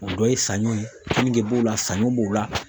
O dɔ ye sanɲɔ ye, kenige b'o la, sanɲɔ b'o la.